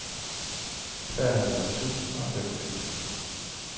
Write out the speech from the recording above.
treoghalvtreds tusind og femogfirs